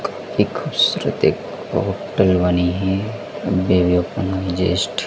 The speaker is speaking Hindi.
एक खुबसूरत एक होटल बनी है।